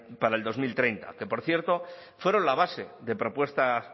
para el dos mil treinta que por cierto fueron la base de propuestas